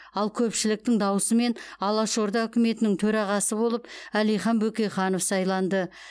ал көпшіліктің дауысымен алаш орда үкіметінің төрағасы болып әлихан бөкейханов сайланды